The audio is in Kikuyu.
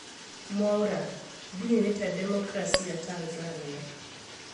Mwaura: Ndininĩte demokrasia Tanzania